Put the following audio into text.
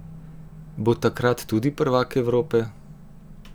Bo takrat tudi prvak Evrope?